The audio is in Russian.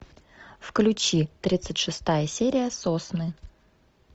включи тридцать шестая серия сосны